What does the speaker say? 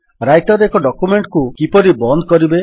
Writer ରେ ଏକ document କୁ କିପରି ବନ୍ଦ କରିବେ